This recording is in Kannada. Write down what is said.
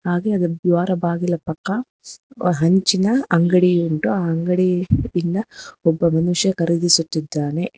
ಹಾಗೆ ಅದು ದ್ವಾರ ಬಾಗಿಲ ಪಕ್ಕ ಹಂಚಿನ ಅಂಗಡಿ ಉಂಟು ಆ ಅಂಗಡಿ ಇಂದ ಒಬ್ಬ ಮನುಷ್ಯ ಕರಗಿಸುತ್ತಿದ್ದಾನೆ